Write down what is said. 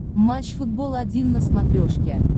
матч футбол один на смотрешке